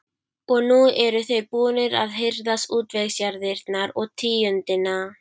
Og nú eru þeir búnir að hirða útvegsjarðirnar og tíundina.